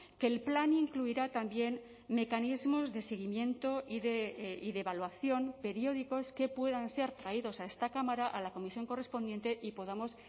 que el plan incluirá también mecanismos de seguimiento y de evaluación periódicos que puedan ser traídos a esta cámara a la comisión correspondiente y podamos